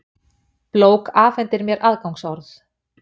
blók afhendir mér aðgangsorð.